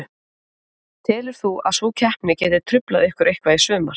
Telur þú að sú keppni geti truflað ykkur eitthvað í sumar?